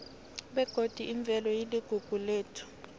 begodi imvelo iligugu lethu